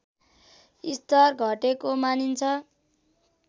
स्तर घटेको मानिन्छ